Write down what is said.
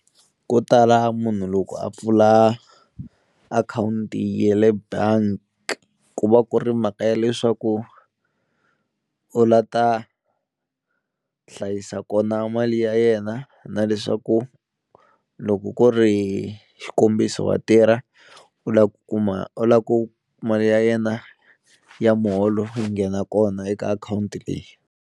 Ko tala munhu loko a pfula akhawunti ya le bank ku va ku ri mhaka ya leswaku u la ta hlayisa kona mali ya yena na leswaku loko ku ri xikombiso wa tirha u lava ku kuma u lava ku mali ya yena ya muholo yi nghena kona eka akhawunti leyi.